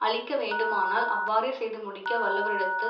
அழிக்க வேண்டுமானால் அவ்வாறே செய்து முடிக்க வல்லவரிடத்தில்